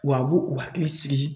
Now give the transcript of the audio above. Wa a b'o o hakili sigi